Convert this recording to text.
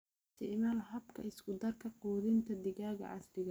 Isticmaal habka isku darka quudinta digaaga casriga ah.